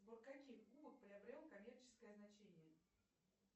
сбор каких губок приобрел коммерческое значение